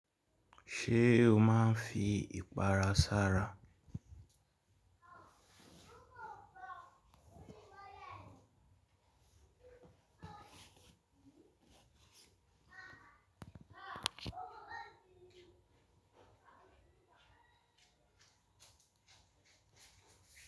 Ṣé o máa ń fi ìpara sára?